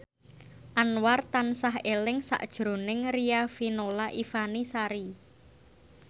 Anwar tansah eling sakjroning Riafinola Ifani Sari